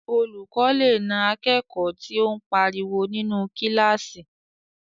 Olùkọ́ lè na akẹ́kọ̀ọ́ tí o n pariwo ninu kílásì